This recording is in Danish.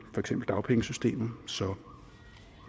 eksempel dagpengesystemet så